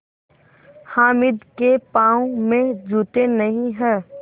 हामिद के पाँव में जूते नहीं हैं